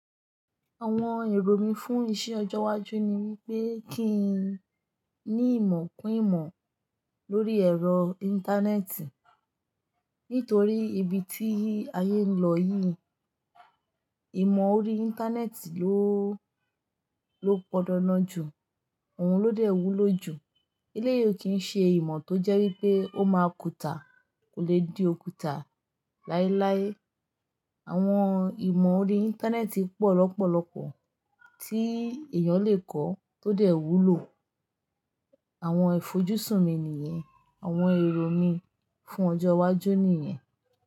Àwọn èrò mí fún iṣẹ́ ọjọ́ iwájú ni wípé kí n ní ìmọ̀ kún ìmọ̀ lórí ẹ̀rọ íńtánẹ́ẹ̀tì. Nítorí ibi tí ayé ń lọ yìí, ìmọ̀ orí íńtánẹ́ẹ̀tì ló, ló gbọ́dọ̀ ná ju, òun ló dẹ̀ wúlò jù. Eléyìí o kìn ṣe ìmọ̀ tó jẹ́ wípé ó máa kùtà, kò lè di òkuta. Láíláí, àwọn ìmọ̀ orí íńtánẹ́ẹ̀tì pọ̀ lọ́pọ̀lọpọ̀ tí èèyàn lè kọ́ tó dẹ̀ wúlò. Àwọn ìfojúsùn mi nìyẹn, àwọn èrò mi fún ọjọ́ iwájú nìyẹn.